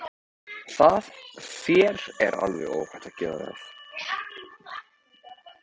Þér er alveg óhætt að gera það!